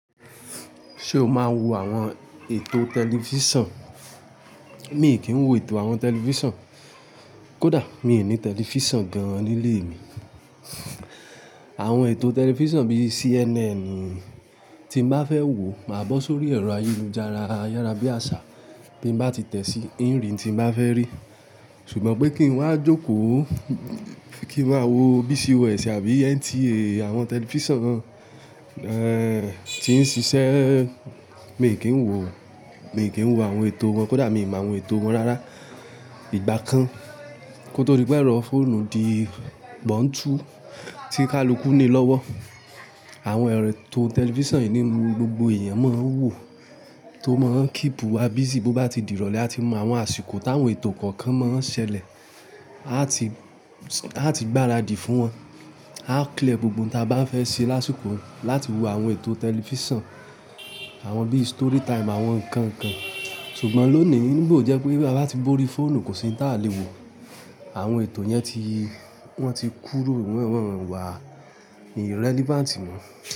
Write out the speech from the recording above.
Ṣé o máa ń wo àwọn ètò tẹlifíṣàn? Mi kì í wo ètò àwọn tẹlifíṣon. Kódà mi ò ní tẹlifíṣàn gan-an nílé mi. Àwọn ètò tẹlifíṣon bíi CNN tí n bá fẹ́ wo, máa bọ́ sórí ẹ̀rọ ayélujára ayárábíàṣá tí n bá ti tẹ̀ sí inri n tí n bá fẹ́ rí. Ṣùgbọ́n pé kí n wá jókòó, kí n wá wo BCO èsì àbí NTA, àwọn tẹlifíṣon tí ń ṣiṣẹ́, mi kì í wo, mi kì í wo àwọn ètò wọn. Kódà mi mọ àwọn ètò wọn rárá ìgbà kan. Ígbà kan, koto dí pé orọ fóònù di bọ́ọ̀ntu tí káluku ni lọ́wọ́. Àwọn ètò tẹlifíṣin yìí ni gbogbo èèyàn máa ń wò tó máa ń keep wa busy bó bá ti dìrọ̀lẹ́ a ti mọ àwọn àsìkò táwọn ètò kọ̀ọ̀kan máa ń ṣẹlẹ̀. A ti gbáradì fún wọn. A clear gbogbo ohun tí a bá fẹ́ ṣe lásikò láti wo àwọn ètò tẹlifíṣon, àwọn bíi story time àwọn nǹkan nkan. Ṣùgbọ́n lónìí, nígbà ojẹ́ pé bi abá ti bóori fóònù kò sí n ta lè wo. Àwọn ètò yẹn ti, wọ́n ti kúrò won wá, relevant mọ́.